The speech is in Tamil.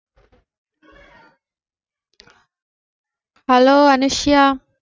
hello அனுசுயா